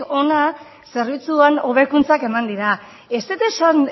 hona zerbitzuetan hobekuntzak eman dira ez dut esan